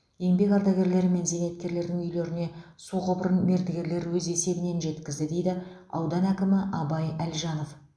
еңбек ардагерлері мен зейнеткерлердің үйлеріне су құбырын мердігерлер өз есебінен жеткізді дейді аудан әкімі абай әлжанов